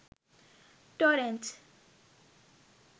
torrentz